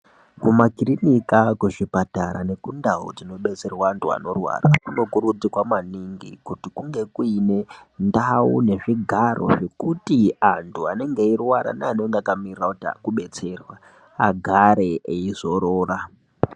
Mumakirinika kuzvipatara nekundau kunodetserwa antu anorwara kunokurudzirwa maningi kuti kunge kuine ndau nezvigaro zvekuti antu anenge eirwara neanenge akamirira uta kubetserwa agare eizorora.